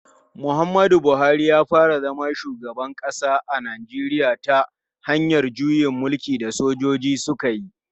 Muhammadu Buhari ya fara zama shugaban kasa a Najeriya ta hanyar juyin mulkin da sojoji suka yi.